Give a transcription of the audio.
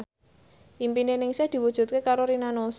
impine Ningsih diwujudke karo Rina Nose